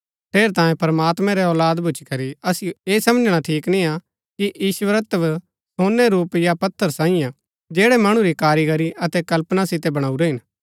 ठेरैतांये प्रमात्मैं रै औलाद भूच्ची करी असिओ ऐह समझणा ठीक निय्आ कि ईश्वरत्व सोनै रूप या पत्थर सांईये हा जैड़ै मणु री कारीगरी अतै कल्पना सितै बणाऊरै हिन